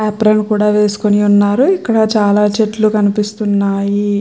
Apron కూడా వేసుకొని వున్నారు. ఇక్కడ చాల చెట్టులు కనిపిస్తున్నాయి.